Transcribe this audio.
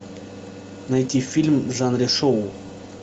найти фильм в жанре шоу